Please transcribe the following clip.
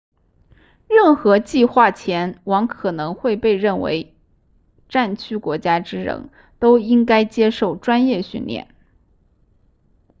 任何计划前往可能被认为战区国家之人都应该接受专业训练